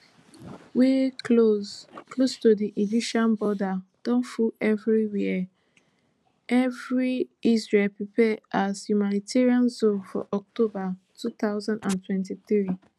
wey close close to di egyptian border don full evriwia ery israel prepare as humanitarian zone for october two thousand and twenty-three